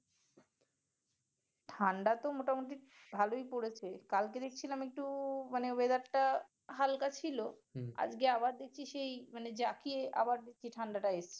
ঠান্ডা তো মোটামুটি ভালই পড়েছে কালকে দেখছিলাম একটু weather টা হালকা ছিল আজকে আবার দেখছি যেই যাকে আবার ঠাণ্ডা টা এসছে